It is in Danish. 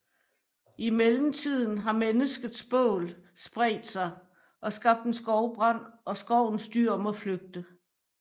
I mellemtiden har menneskets bål spredt sig og skabt en skovbrand og skovens dyr må flygte